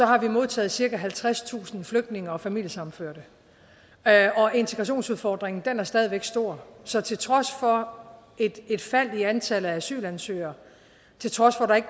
har modtaget cirka halvtredstusind flygtninge og familiesammenførte og integrationsudfordringen er stadig væk stor så til trods for et fald i antallet af asylansøgere til trods for at der ikke